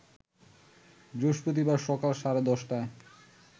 বৃহস্পতিবার সকাল সাড়ে ১০টায়